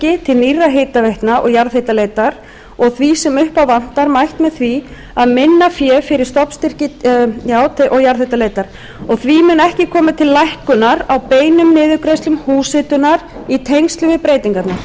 hitaveitna og jarðhitaleitar og því sem upp á vantar mætt með því að minna fé fer í stofnstyrki til nýrra hitaveitna og jarðhitaleitar því mun ekki koma til lækkunar á beinum niðurgreiðslum húshitunarkostnaðar í tengslum við breytingarnar